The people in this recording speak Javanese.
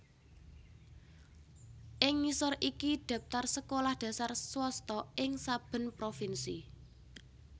Ing ngisor iki dhaptar sekolah dhasar swasta ing saben provinsi